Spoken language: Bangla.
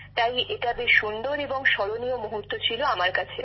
তাই এটি বেশ সুন্দর এবং স্মরণীয় মুহূর্ত ছিল আমার কাছে